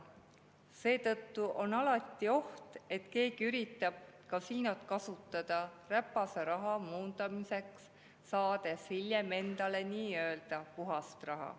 Seetõttu on alati oht, et keegi üritab kasiinot kasutada räpase raha muundamiseks, saades hiljem endale nii-öelda puhast raha.